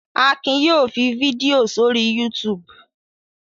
Akin yóò fi fídíò sórí YouTube.